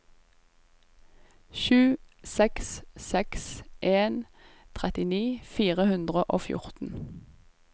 sju seks seks en trettini fire hundre og fjorten